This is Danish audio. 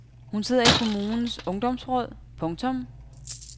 Hun sidder i kommunens ungdomsråd. punktum